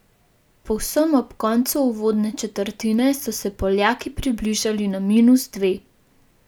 Povsem ob koncu uvodne četrtine so se Poljaki približali na minus dve.